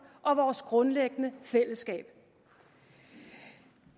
og vores grundlæggende fællesskab